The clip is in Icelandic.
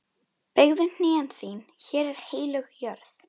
Beygðu hné þín, hér er heilög jörð.